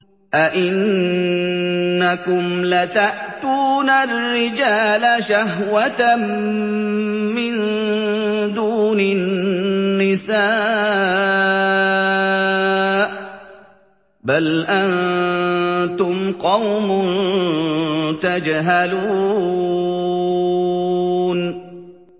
أَئِنَّكُمْ لَتَأْتُونَ الرِّجَالَ شَهْوَةً مِّن دُونِ النِّسَاءِ ۚ بَلْ أَنتُمْ قَوْمٌ تَجْهَلُونَ